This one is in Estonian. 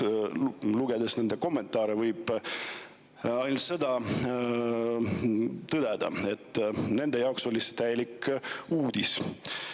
Lugedes nende kommentaare võib ainult tõdeda seda, et nende jaoks oli see täielik uudis.